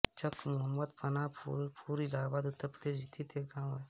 चक मोहम्मद पनाह फूलपुर इलाहाबाद उत्तर प्रदेश स्थित एक गाँव है